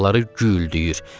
Qulaqları güldüyür.